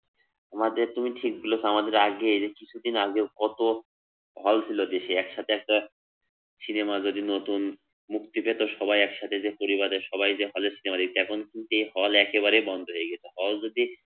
আমাদের তুমি ঠিক বলেছো আমাদের আগের কিছুদিন আগেও কত হল ছিল দেশে একসাথে সিনেমা যদি নতুন মুক্তি পেত সবাই একসাথে যেত একসাথে যেত সিনেমা দেখতে। এখন যে হল একেবারেই বন্ধ হয়ে গেছে। হল যদি